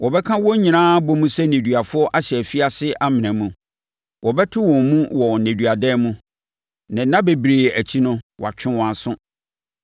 Wɔbɛka wɔn nyinaa abɔ mu sɛ nneduafoɔ ahyɛ afiase amena mu; wɔbɛto wɔn mu wɔ nneduadan mu na nna bebree akyi no wɔatwe wɔn aso.